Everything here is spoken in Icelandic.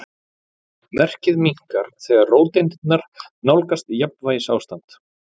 Merkið minnkar þegar róteindirnar nálgast jafnvægisástand.